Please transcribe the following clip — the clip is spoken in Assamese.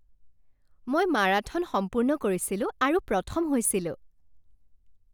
মই মাৰাথন সম্পূৰ্ণ কৰিছিলোঁ আৰু প্ৰথম হৈছিলোঁ।